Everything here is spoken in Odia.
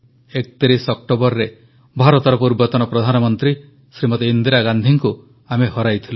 31 ଅକ୍ଟୋବରରେ ଭାରତର ପୂର୍ବତନ ପ୍ରଧାନମନ୍ତ୍ରୀ ଶ୍ରୀମତୀ ଇନ୍ଦିରା ଗାନ୍ଧୀଙ୍କୁ ଆମେ ହରାଇଥିଲୁ